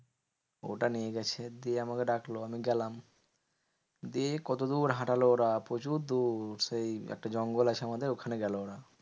ওটা নিয়ে গেছে, দিয়ে আমাকে ডাকলো আমি গেলাম। দিয়ে কতদূর হাঁটালো ওরা প্রচুর দূর। সেই একটা জঙ্গল আছে আমাদের ওখানে গেলো ওরা।